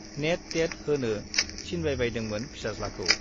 Net, TET होनो थिनबायबायदोंमोन फिसाज्लाखौ।